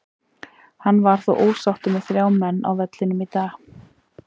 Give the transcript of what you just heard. Hann var þó ósáttur með þrjá menn á vellinum í dag.